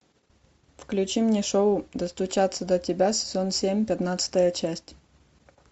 включи мне шоу достучаться до тебя сезон семь пятнадцатая часть